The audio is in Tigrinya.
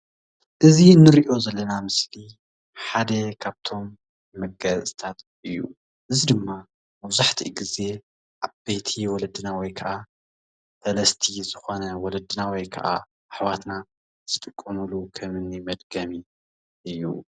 እዚ ንርኦ ዘሎና ምስልኢ ሓደ ካብቶም መጋየፂታት እዩ። እዚ ድማ መብዛሓቲኡ ግዚ ኣበይቲ ወለድና ወይ ካዓ ፈለስቲ ዝኮና ወለድና ወይ ከዓ ኣሕዋትና ዝጥቀምሉ ከም ኣኒ መድገሜ እዩ።